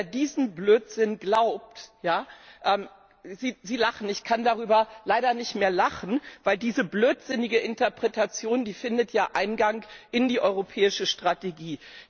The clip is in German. Also, wer diesen Blödsinn glaubt Sie lachen, ich kann darüber leider nicht mehr lachen, denn diese blödsinnige Interpretation findet ja Eingang in die europäische Strategie!